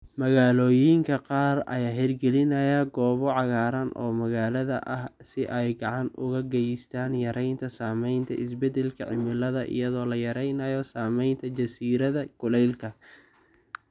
Magaalooyinka qaar ayaa hirgelinaya goobo cagaaran oo magaalada ah si ay gacan uga geystaan yareynta saameynta isbeddelka cimilada iyadoo la yareynayo saameynta jasiiradda kulaylka.